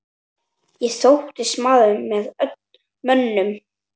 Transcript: Ég þóttist maður með mönnum.